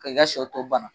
Ka i ka sɛw tɔ bana